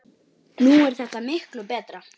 Nú er þetta miklu betra.